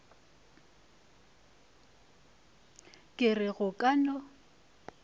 ke re go ka no